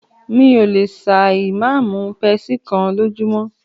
Mí ò lè ṣà ì máa mú pepsi kán lójúmọ́.